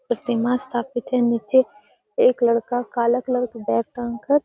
प्रतिमा स्थापित है नीचे एक लड़का काला कलर का बैग टांग कर --